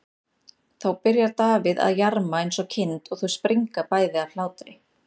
Þá byrjar Davíð að jarma eins og kind og þau springa bæði af hlátri.